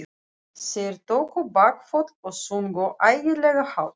Þeir tóku bakföll og sungu ægilega hátt.